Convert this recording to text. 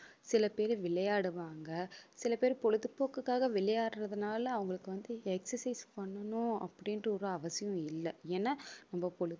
சில பேரு விளையாடுவாங்க சில பேர் பொழுதுபோக்குக்காக விளையாடுறதுனால அவங்களுக்கு வந்து exercise பண்ணணும் அப்படின்ட்டு ஒரு அவசியம் இல்லை ஏன்னா நம்ம